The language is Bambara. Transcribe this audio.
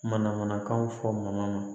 Mana manakanw fɔ maana